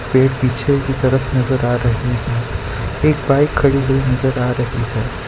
पेड़ पीछे की तरफ नजर आ रही है एक बाइक खड़ी हुई नजर आ रही है।